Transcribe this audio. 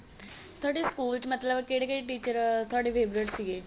ਤੁਹਾਡੇ school ਚ ਮਤਲਬ ਕਹਿੜੇ ਕਹਿੜੇ teacher ਤੁਹਾਡੇ favorite ਸੀਗੇ